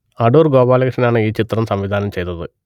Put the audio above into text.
അടൂർ ഗോപാലകൃഷ്ണനാണ് ഈ ചിത്രം സംവിധാനം ചെയ്തത്